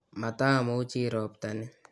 matamuchi robta ni